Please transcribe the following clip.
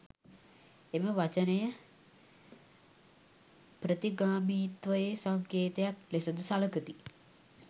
එම වචනය ප්‍රතිගාමීත්වයේ සංකේතයක් ලෙස ද සළකති.